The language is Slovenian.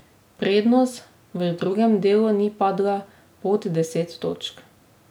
Prednost v drugem delu ni padla pod deset točk.